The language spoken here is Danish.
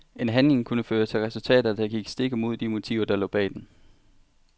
En handling kunne føre til resultater, der gik stik imod de motiver der lå bag den.